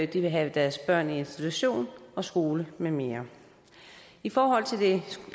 de vil have deres børn i institution og skole med mere i forhold til